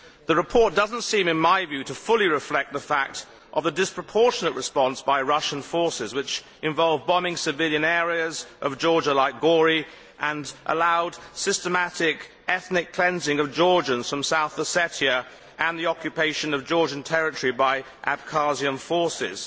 The report does not seem in my view to fully reflect the fact of the disproportionate response by Russian forces, which involved bombing civilian areas of Georgia like Gori, and allowed systematic ethnic cleansing of Georgians from South Ossetia and the occupation of Georgian territory by Abkhazian forces.